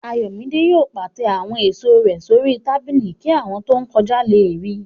Ayọ̀mídé yóò pàtẹ àwọn èèso rẹ̀ sórí tábìlì kí àwọn tó n kọjá lè ríi